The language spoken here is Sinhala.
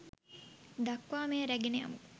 දක්වා මෙය රැගෙන යමු